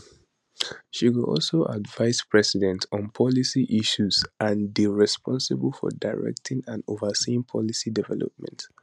she go also advise president on policy issues and dey responsible for directing and overseeing policy development